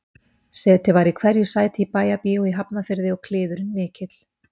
Setið var í hverju sæti í Bæjarbíói í Hafnarfirði og kliðurinn mikill